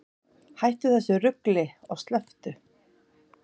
Hættu þessu rugli og slepptu!